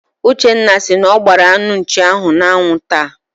Uchenna si na ọ gbaara anụ nchi ahụ n'anwụ taa.